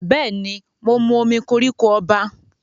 Bẹ́ẹ̀ ni, mo mu omí koríko ọba.